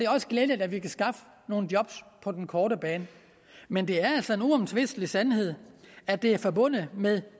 også glædeligt at vi kan skaffe nogle job på den korte bane men det er altså en uomtvistelig sandhed at det er forbundet med